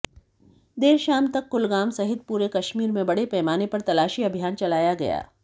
देर शाम तक कुलगाम सहित पूरे कश्मीर में बड़े पैमाने पर तलाशी अभियान चलाया गया